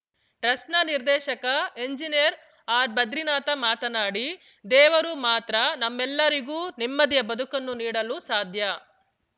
ಟ್ರಸ್ಟ್‌ನ ನಿರ್ದೇಶಕ ಎಂಜಿನಿಯರ್‌ ಆರ್‌ಭದ್ರಿನಾಥ ಮಾತನಾಡಿ ದೇವರು ಮಾತ್ರ ನಮ್ಮೆಲ್ಲರಿಗೂ ನೆಮ್ಮದಿಯ ಬದುಕನ್ನು ನೀಡಲು ಸಾಧ್ಯ